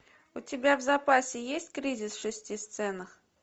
у тебя в запасе есть кризис в шести сценах